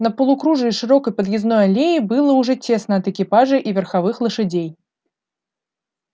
на полукружии широкой подъездной аллеи было уже тесно от экипажей и верховых лошадей